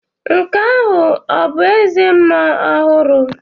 Nke ahụ ọ̀ bụ eze mmuo ọhụrụ?